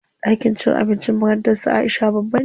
Ɗakin cin abincin makarantar su Aisha babba ne.